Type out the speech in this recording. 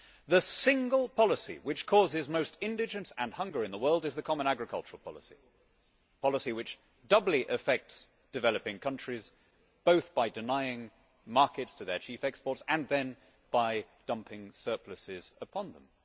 The single policy which causes most indigence and hunger in the world is the Common Agricultural Policy, a policy which doubly affects developing countries, both by denying markets to their chief exports and then by dumping surpluses upon them.